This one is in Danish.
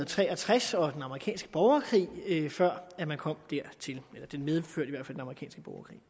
tre og tres og den amerikanske borgerkrig før man man kom dertil det medførte den amerikanske borgerkrig